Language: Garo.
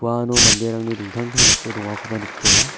manderangni dingtang dingtang dake dongakoba nikjola.